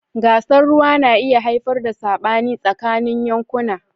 Gasar ruwa na iya haifar da sabani tsakanin yankuna.